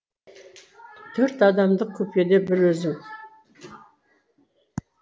төрт адамдық купеде бір өзім